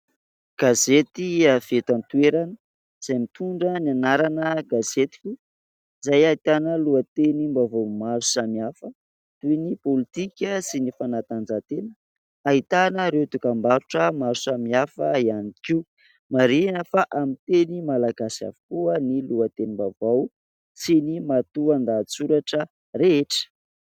Gazety avy eto an-toerana, izay mitondra ny anarana Gazetiko ; izay ahitana lohatenim-baovao maro samihafa toy ny politika sy ny fanatanjatena ; ahitana ireo dokam-barotra maro samihafa ihany koa. Marihina fa amin'ny teny malagasy avokoa ny lohatenim-baovao sy ny matoan-dahatsoratra rehetra.